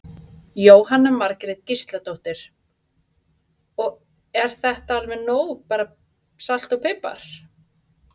Jóhanna Margrét Gísladóttir: Og er þetta alveg nóg bara salt og pipar?